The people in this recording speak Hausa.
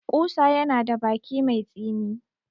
Ƙusa yana da baki mai tsini.